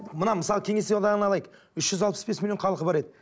мына мысалы кеңес одағын алайық үш жүз алпыс бес миллион халқы бар еді